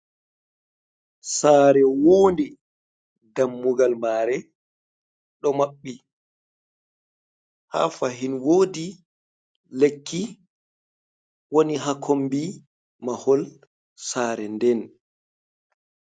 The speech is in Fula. Sare woonde, dammugal mare ɗo maɓɓi ha fahin wodi lekki woni ha kombi mahol sare nden.